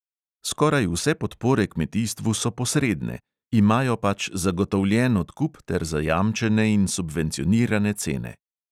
Skoraj vse podpore kmetijstvu so posredne – imajo pač zagotovljen odkup ter zajamčene in subvencionirane cene.